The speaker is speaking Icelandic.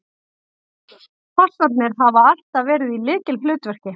Fossarnir hafa alltaf verið í lykilhlutverki